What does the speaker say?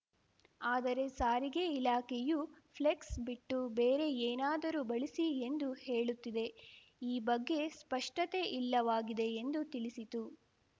ಆದರೆ ಸಾರಿಗೆ ಇಲಾಖೆಯು ಫ್ಲೆಕ್ಸ್‌ ಬಿಟ್ಟು ಬೇರೆ ಏನಾದರೂ ಬಳಸಿ ಎಂದು ಹೇಳುತ್ತಿದೆ ಈ ಬಗ್ಗೆ ಸ್ಪಷ್ಟತೆ ಇಲ್ಲವಾಗಿದೆ ಎಂದು ತಿಳಿಸಿತು